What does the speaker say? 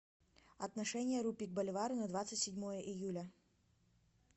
отношение рупий к боливару на двадцать седьмое июля